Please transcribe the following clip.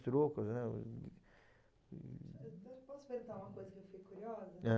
né, hm hm. Posso perguntar uma coisa que eu fiquei curiosa? Ãh?